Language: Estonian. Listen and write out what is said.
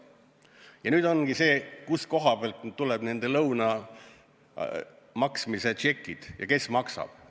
Ja nüüd ongi küsimus, kust kohast esitatakse nende lõunate maksmise tšekid ja kes maksab.